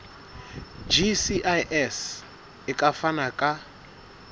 gcis e ka fana ka